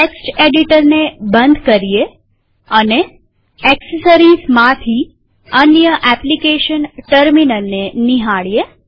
text એડિટરને બંધ કરીએ અને એક્સેસરીઝમાંથી અન્ય એપ્લીકેશન ટર્મિનલને નિહાળીએ